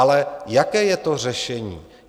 Ale jaké je to řešení?